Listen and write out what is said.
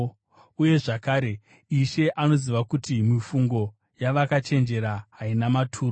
uye zvakare, “Ishe anoziva kuti mifungo yavakachenjera haina maturo.”